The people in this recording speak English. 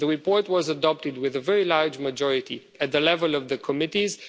us. The report was adopted with a very large majority at the level of the committees.